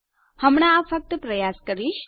હું હમણાં આ ફક્ત પ્રયાસ કરીશ